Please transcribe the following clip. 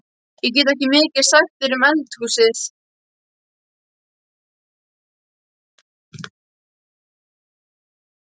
Ég get ekki mikið sagt þér um eldhúsið.